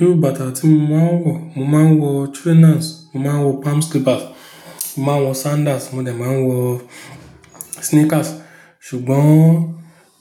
Irú bàtà tí mo máa ń wọ, mo máa ń wọ trainers, mo máa ń wọ palm slippers, mo máa ń wọ sandals, mo dà máa ń wọ sneakers. Sugbon